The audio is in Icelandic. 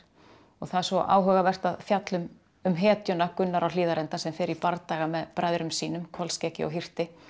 það er svo áhugavert að fjalla um um hetjuna Gunnar á Hlíðarenda sem fer í bardaga með bræðrum sínum Kolskeggi og hirti